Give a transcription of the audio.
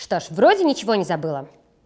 что же вроде ничего не забыла